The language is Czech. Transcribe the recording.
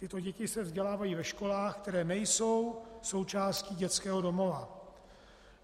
Tyto děti se vzdělávají ve školách, které nejsou součástí dětského domova.